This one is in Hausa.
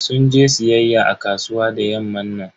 Sun je siyayya a kasuwa da yamman nan.